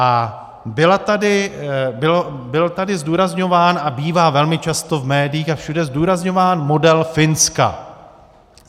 A byl tady zdůrazňován a bývá velmi často v médiích a všude zdůrazňován model Finska.